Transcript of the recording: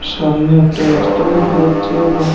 সামনে একটা রাস্তা দেখা যাচ্ছে এবং--